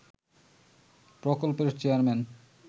প্রকল্পের চেয়ারম্যান